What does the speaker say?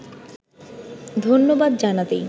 ধন্যবাদ জানাতেই